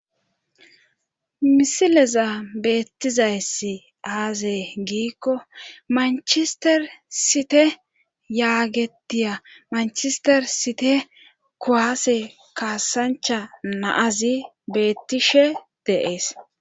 Misileza beettizayssi aazay giikko manchester site yaagetiya manchester site koaase kaasancha naazi beettishe deees.